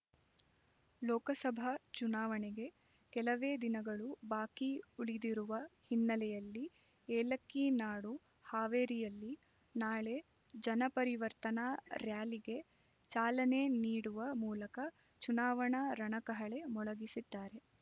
ಲೋಕಸಭಾ ಚುನಾವಣೆಗೆ ಕೆಲವೇ ದಿನಗಳು ಬಾಕಿ ಉಳಿದಿರುವ ಹಿನ್ನೆಲೆಯಲ್ಲಿ ಏಲಕ್ಕಿ ನಾಡು ಹಾವೇರಿಯಲ್ಲಿ ನಾಳೆ ಜನಪರಿವರ್ತನಾ ರ್‍ಯಾಲಿಗೆ ಚಾಲನೆ ನೀಡುವ ಮೂಲಕ ಚುನಾವಣಾ ರಣಕಹಳೆ ಮೊಳಗಿಸಲಿದ್ದಾರೆ